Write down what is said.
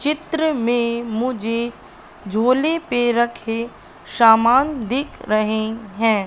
चित्र में मुझे झोले पे रखे सामान दिख रहें हैं।